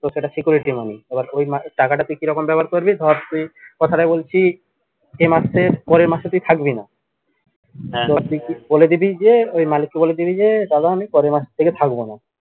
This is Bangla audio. security money এবার ওই টাকাটা তুই কিরকম ব্যবহার করবি ধর তুই কথাটা বলছি যে মাসের পরের মাসে থাকবিনা ধর তুই বলে দিবি যে ওই মালিক কে বলে দিবি যে দাদা আমি পরের মাস থেকে থাকবোনা